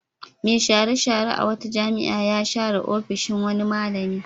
Mai share-share a wata jami'a ya share ofishin wani malami.